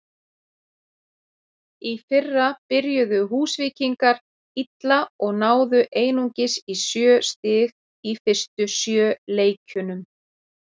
Í fyrra byrjuðu Húsvíkingar illa og náðu einungis í sjö stig í fyrstu sjö leikjunum.